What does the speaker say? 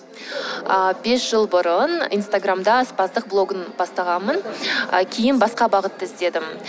ыыы бес жыл бұрын инстаграмда аспаздық блогын бастағанмын ы кейін басқа бағытты іздедім